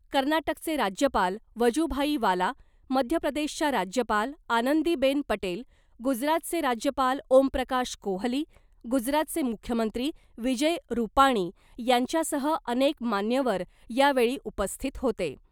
कर्नाटकचे राज्यपाल वजुभाई वाला , मध्यप्रदेशच्या राज्यपाल आनंदीबेन पटेल , गुजरातचे राज्यपाल ओमप्रकाश कोहली , गुजरातचे मुख्यमंत्री विजय रुपाणी यांच्यासह अनेक मान्यवर यावेळी उपस्थित होते .